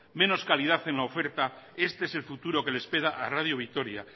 menos calidad en la oferta este es el futuro que le espera a radio vitoria